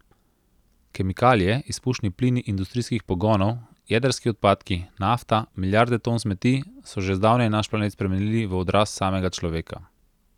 Kemikalije, izpušni plini industrijskih pogonov, jedrski odpadki, nafta, milijarde ton smeti so že zdavnaj naš planet spremenili v odraz samega človeka.